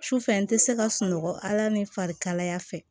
Su fɛ n tɛ se ka sunɔgɔ ala ni farikaya fɛ